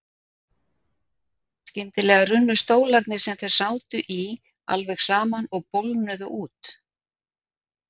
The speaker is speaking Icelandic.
Skyndilega runnu stólarnir sem þeir sátu í alveg saman og bólgnuðu út.